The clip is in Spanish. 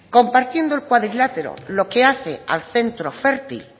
compartiendo el cuadrilátero lo que hace al centro fértil